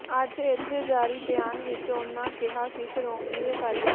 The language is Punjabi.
ਅੱਜ ਇੱਥੇ ਜਾਰੀ ਬਿਆਨ ਵਿੱਚ ਉਨ੍ਹ੍ਹਾਂ ਕਿਹਾ ਕਿ ਸ਼੍ਰੋਮਣੀ ਅਕਾਲੀ